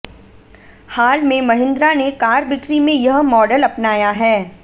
हाल में महिन्द्रा ने कार ब्रिकी में यह मॉडल अपनाया है